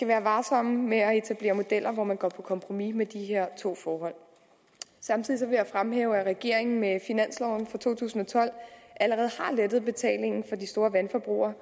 være varsomme med at etablere modeller hvor man går på kompromis med de her to forhold samtidig vil jeg fremhæve at regeringen med finansloven for to tusind og tolv allerede har lettet betalingen for de store vandforbrugere